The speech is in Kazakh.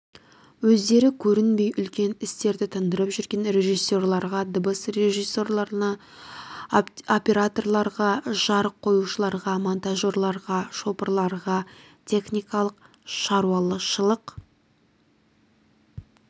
өздері көрінбей үлкен істерді тындырып жүрген режиссерларға дыбыс режиссерларына операторларға жарық қоюшыларға монтажерларға шопырларға техникалық шаруашылық